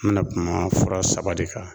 N mɛna kuma fura saba de kan.